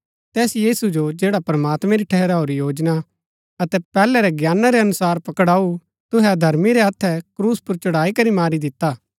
तैस यीशु जो जैडा प्रमात्मैं री ठहराऊरी योजना अतै पैहलै रै ज्ञाना रै अनुसार पकड़ाऊ तुहै अधर्मी रै हत्थै क्रूस पुर चढ़ाईकरी मारी दिता